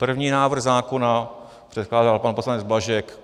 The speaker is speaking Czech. První návrh zákona předkládal pan poslanec Blažek.